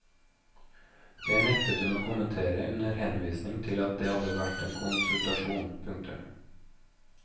Det nektet hun å kommentere under henvisning til at det hadde vært en konsultasjon. punktum